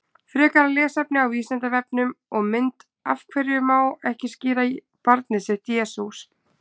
Frekara lesefni á Vísindavefnum og mynd Af hverju má ekki skíra barnið sitt Jesús?